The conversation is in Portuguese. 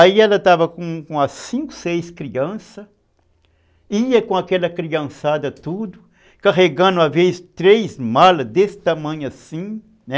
Aí ela estava com as cinco, seis crianças, ia com aquela criançada tudo, carregando às vezes três malas desse tamanho assim, né?